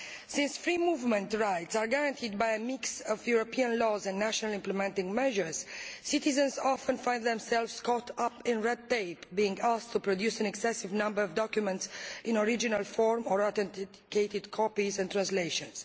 Since free movement rights are guaranteed by a mix of European laws and national implementing measures, citizens often find themselves caught up in red tape, being asked to produce an excessive number of documents in original form or authenticated copies and translations.